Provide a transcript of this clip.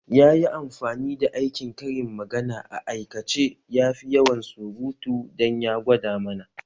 Ya yi amfani da aikin karin magana a aikace yafi yawan surutu dan ya gwada mana